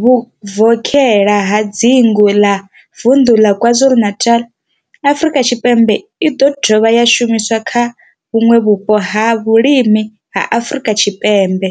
vhuvokhela ha dzingu ḽa vunḓu ḽa KwaZulu-Natal, Afrika Tshipembe i do dovha ya shumiswa kha vhuṋwe vhupo ha vhulimi ha Afrika Tshipembe.